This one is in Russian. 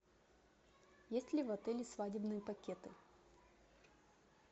есть ли в отеле свадебные пакеты